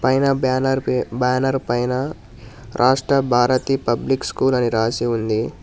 పైన బ్యానర్ పి బ్యానర్ పైన రాష్ట్ర భారతి పబ్లిక్ స్కూల్ అని రాసి ఉంది.